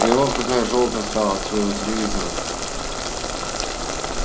и вот какая жёлтая стала от своего телевизора